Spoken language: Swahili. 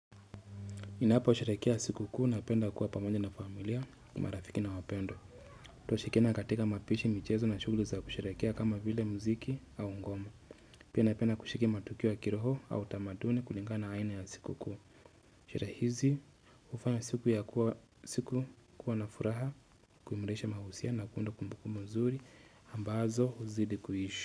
Ninapo sherekea sikukuu napenda kuwa pamoja na familia marafiki na wapendwa. Twashirikiana katika mapishi, michezo na shughuli za kusherekea kama vile mziki au ngomo. Pia napenda kushiriki matukio ya kiroho au tamaduni kulingana aina ya siku kuu. Sherehe hizi hufanya siku ya kuwa siku kuwa na furaha kuimarisha mahusia na kuunda kumbukumbu mzuri ambazo huzidi kuishi.